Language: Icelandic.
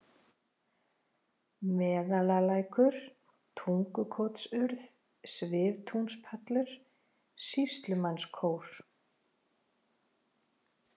Meðalalækur, Tungukotsurð, Sviftúnspallur, Sýslumannskór